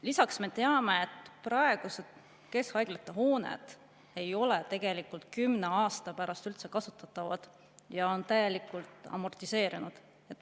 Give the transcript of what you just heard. Lisaks me teame, et praegused keskhaiglate hooned ei ole tegelikult kümne aasta pärast üldse kasutatavad, on täielikult amortiseerunud.